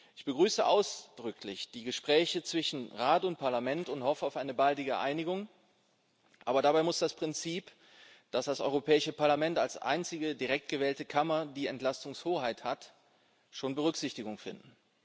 Ich begrüße ausdrücklich die Gespräche zwischen Rat und Parlament und hoffe auf eine baldige Einigung, aber dabei muss das Prinzip, dass das Europäische Parlament als einzige direkt gewählte Kammer die Entlastungshoheit hat, schon Berücksichtigung finden.